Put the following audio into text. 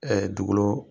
dugukolo